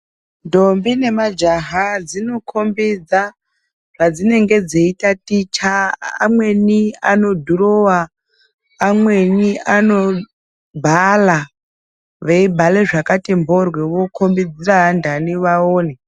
Ndombi nemajaha dzinokombidza zvadzinenge dzeitaticha. Amweni anodhirowa, amweni anobhala, veibhale zvakati moryo vokombidzidzira vandani vaone.